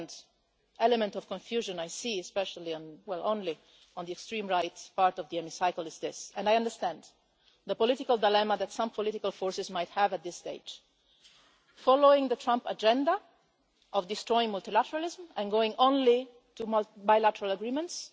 The second element of confusion I see especially well, only on the extreme right part of the Chamber is this and I understand the political dilemma that some political forces might have at this stage, namely following the Trump agenda of destroying multilateralism and going only to bilateral agreements